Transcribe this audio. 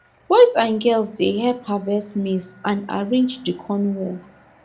boys and girls dey help harvest maize and arrange the corn well